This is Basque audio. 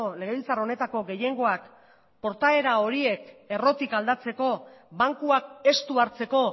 legebiltzar honetako gehiengoak portaera horiek errotik aldatzeko bankuak estu hartzeko